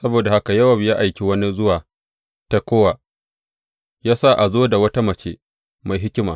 Saboda haka Yowab ya aiki wani zuwa Tekowa, ya sa a zo da wata mace mai hikima.